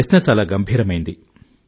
ప్రశ్న చాలా గంభీరమైంది